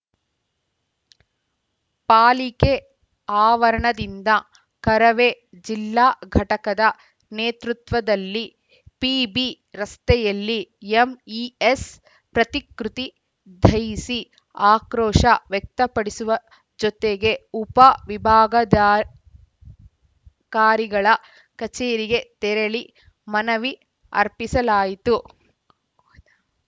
ಪಾಲಿಕೆ ಆವರಣದಿಂದ ಕರವೇ ಜಿಲ್ಲಾ ಘಟಕದ ನೇತೃತ್ವದಲ್ಲಿ ಪಿಬಿ ರಸ್ತೆಯಲ್ಲಿ ಎಂಇಎಸ್‌ ಪ್ರತಿಕೃತಿ ದಹಿಸಿ ಆಕ್ರೋಶ ವ್ಯಕ್ತಪಡಿಸುವ ಜೊತೆಗೆ ಉಪ ವಿಭಾಗಾದ ಕಾರಿಗಳ ಕಚೇರಿಗೆ ತೆರಳಿ ಮನವಿ ಅರ್ಪಿಸಲಾಯಿತು